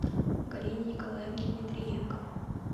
галине николаевне дмитриенко